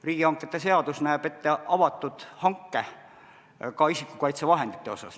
Riigihangete seadus näeb ette avatud hanke ka isikukaitsevahendite puhul.